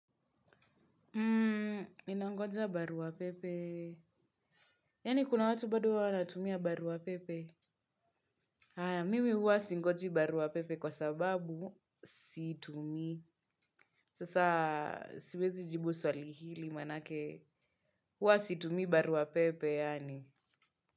Unangoja barua pepe. Yaani kuna watu bado huwa wanatumia barua pepe? Mimi huwa singoji barua pepe kwa sababu siitumii. Sasa siwezi jibu swali hili maanake huwa situmii barua pepe yaani.